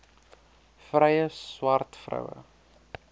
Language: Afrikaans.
vrye swart vroue